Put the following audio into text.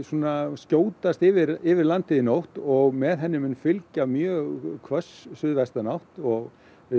skjótast yfir yfir landið í nótt og með henni mun fylgja mjög hvöss suðvestanátt og